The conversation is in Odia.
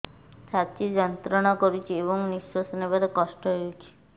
ଛାତି ଯନ୍ତ୍ରଣା କରୁଛି ଏବଂ ନିଶ୍ୱାସ ନେବାରେ କଷ୍ଟ ହେଉଛି